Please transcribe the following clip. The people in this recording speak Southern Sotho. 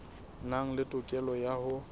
nang le tokelo ya ho